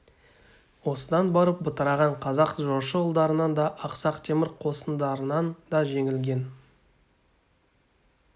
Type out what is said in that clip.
осыдан барып бытыраған қазақ жошы ұлдарынан да ақсақ темір қосындарынан да жеңілген